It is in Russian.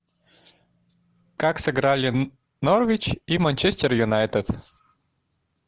как сыграли норвич и манчестер юнайтед